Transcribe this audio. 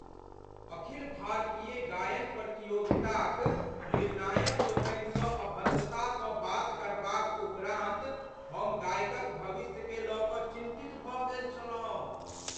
अखिल भारतीय गायन प्रतियोगिताक निर्णायकलोकनिसँ अभद्रतासँ बात करबाक उपरान्त हम गायकक भविष्यकेँ लय कऽ चिन्तित भऽ गेल छलहुँ।